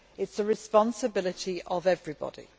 It is the responsibility of everybody.